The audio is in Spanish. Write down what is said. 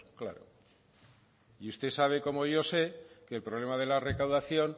claro y usted sabe como yo sé que el problema de la recaudación